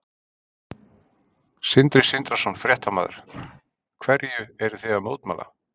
Sindri Sindrason, fréttamaður: Hverju eruð þið að mótmæla?